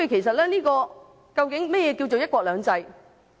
所以，究竟何謂"一國兩制"？